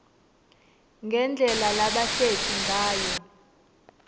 ngendlela labahleti ngayo